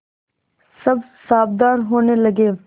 सब सावधान होने लगे